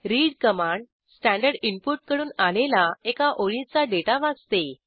read command standard input कडून आलेला एका ओळीचा डेटा वाचते